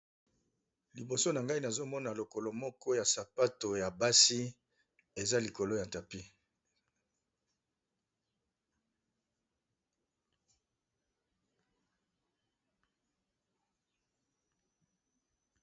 Liboso na ngai nazomona lokolo moko ya sapato ya basi eza likolo ya tapi.